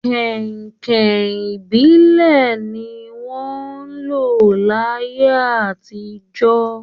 Kẹ̀hìnkẹ̀hìn ìbílẹ̀ ni wọ́n n lò láyé àtijọ́